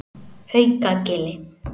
Haukagili